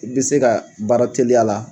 I bɛ se k'a baara teliya la